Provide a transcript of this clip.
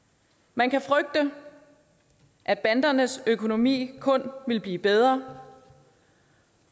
man kan frygte at bandernes økonomi kun vil blive bedre